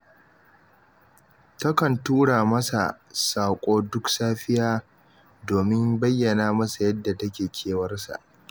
Takan tura masa saƙo duk safiya, domin bayyana masa yadda take kewar sa